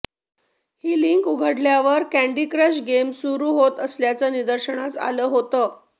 ही link उघडल्यावर Candy Crush game सुरू होत असल्याचं निदर्शनास आलं होतं